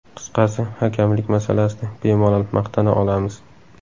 Qisqasi, hakamlik masalasida bemalol maqtana olamiz.